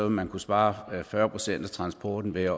man kunne spare fyrre procent af transporten ved